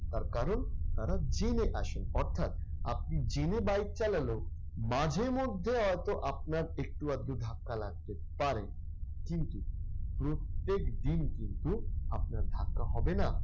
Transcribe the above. তার কারণ তারা জেনে আসেন। অর্থাৎ আপনি জেনে bike চালালেও মাঝেমধ্যে হয়তো আপনার একটু-আধটু ধাক্কা লাগতে পারে। কিন্তু প্রত্যেকদিন কিন্তু আপনার ধাক্কা হবে না।